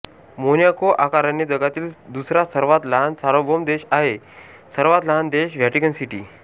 Monaco आकाराने जगातील दुसरा सर्वात लहान सार्वभौम देश आहे सर्वात लहान देश व्हॅटिकन सिटी